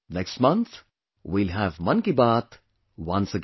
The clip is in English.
Next month, we will have 'Mann Ki Baat' once again